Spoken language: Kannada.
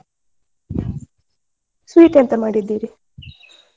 ಹ್ಮ್ noise sweet ಎಂತ ಮಾಡಿದ್ದೀರಿ?